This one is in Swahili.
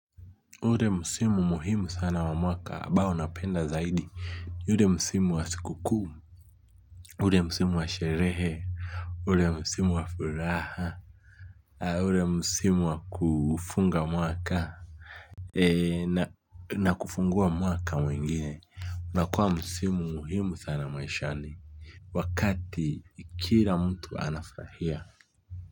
Ule msimu muhimu sana wa mwaka ambao napenda zaidi. Ule msimu wa sikukuu. Ule msimu wa sherehe. Ule msimu wa furaha. Ule msimu wa kufunga mwaka. Na kufungua mwaka mwingine inakuwa msimu muhimu sana maishani wakati kila mtu anafurahia.